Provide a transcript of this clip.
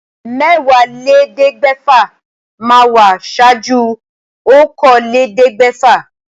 Mẹ́wàálélẹ́ẹ̀ẹ́dẹ́gbẹ́fà máa wà ṣáájú okòólélẹ́ẹ̀ẹ́dẹ́gbẹ́fà